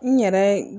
N yɛrɛ